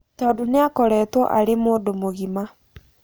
Tondũ nĩakoretwo arĩ mũndũ mũgima.